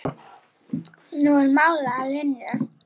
Nú er mál að linni.